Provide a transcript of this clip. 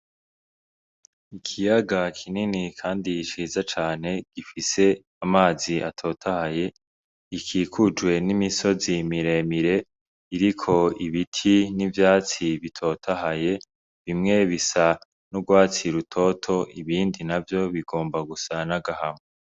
Ikiyaga kinini kandi ciza cane gifise amazi atotahaye gikikujwe n'imisozi miremire iriko ibiti n'ivyatsi bitotahaye bimwe bisa n'urwatsi rutoto ibindi navyo bigomba gusa n'agahama.